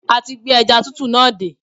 A ti gbé ẹja tútù náà dé